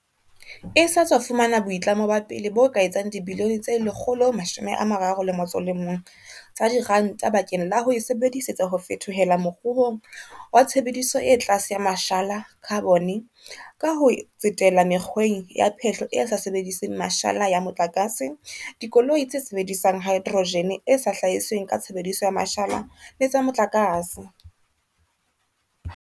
E sa tswa fumana boitlamo ba pele bo ka etsang dibilione tse 131 tsa diranta bakeng la ho e sebe disetsa ho fetohela moruong wa tshebediso e tlase ya ma shala, khabone, ka ho tsetela mekgweng ya phehlo e sa sebediseng mashala ya mo tlakase, dikoloi tse sebedisang haedrojene e sa hlahisweng ka tshebediso ya mashala le tsa motlakase.